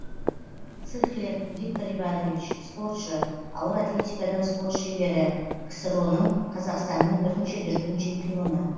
цыхлер виктор иванович спортшы ауыр атлетикадан спорт шебері ксро ның қазақстанның бірінші дүркін чемпионы